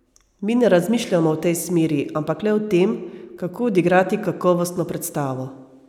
Mi ne razmišljamo v tej smeri, ampak le o tem, kako odigrati kakovostno predstavo.